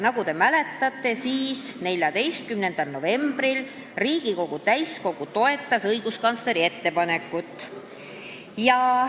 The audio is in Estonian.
Nagu te mäletate, 14. novembril Riigikogu täiskogu toetas õiguskantsleri ettepanekut.